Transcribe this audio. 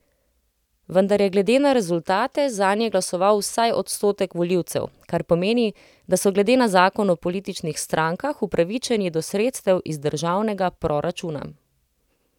Vendar je glede na rezultate zanje glasoval vsaj odstotek volivcev, kar pomeni, da so glede na zakon o političnih strankah upravičeni do sredstev iz državnega proračuna.